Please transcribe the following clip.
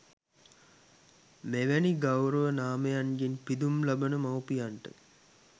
මෙවැනි ගෞරව නාමයන්ගෙන් පිදුම් ලබන මව්පියන්ට